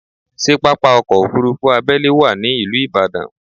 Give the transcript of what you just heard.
Ṣé pápá ọkọ́ Òfurufú abẹ́lé wà ní ìlú Ìbàdàn?